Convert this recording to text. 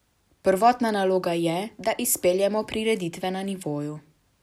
Prvotna naloga je, da izpeljemo prireditve na nivoju.